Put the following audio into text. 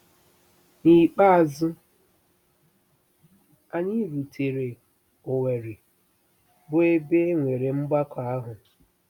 N'ikpeazụ, anyị rutere Owerri, bụ́ ebe e nwere mgbakọ ahụ.